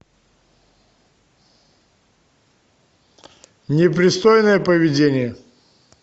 непристойное поведение